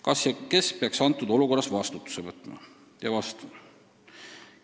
Kas ja kes peaks antud olukorras vastutuse võtma?